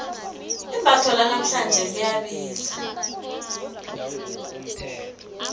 imbatho lanamhlanje liyabiza